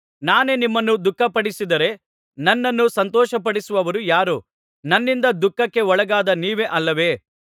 ನಾನೇ ನಿಮ್ಮನ್ನು ದುಃಖಪಡಿಸಿದರೆ ನನ್ನನ್ನು ಸಂತೋಷಪಡಿಸುವವರು ಯಾರು ನನ್ನಿಂದ ದುಃಖಕ್ಕೆ ಒಳಗಾದ ನೀವೇ ಅಲ್ಲವೇ